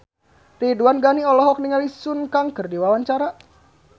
Ridwan Ghani olohok ningali Sun Kang keur diwawancara